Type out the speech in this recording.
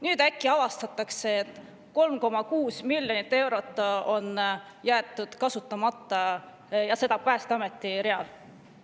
Nüüd äkki avastatakse, et 3,6 miljonit eurot on jäetud kasutamata, ja seda Päästeameti real.